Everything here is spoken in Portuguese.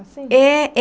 Assim? É é.